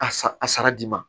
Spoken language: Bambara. A sa a sara di ma